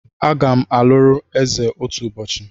Agam aluru eze otu ubochi